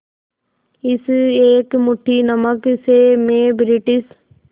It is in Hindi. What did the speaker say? इस एक मुट्ठी नमक से मैं ब्रिटिश